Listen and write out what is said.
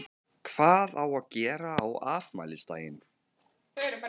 Þóra: Hvað á að gera á afmælisdaginn?